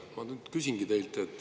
Ma nüüd küsingi teilt.